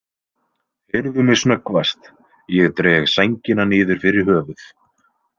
Heyrðu mig snöggvast, ég dreg sængina niður fyrir höfuð.